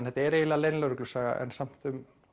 þetta er eiginlega leynilögreglusaga en samt